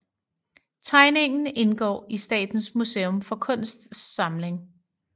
Tegningen indgår i Statens Museum for Kunsts samling